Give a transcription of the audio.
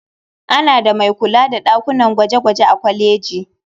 Ana da mai kula da ɗakunan gwaje-gwaje a kwaleji.